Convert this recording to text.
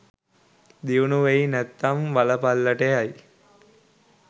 දියුණු වෙයි නැත්නම් වලපල්ලට යයි.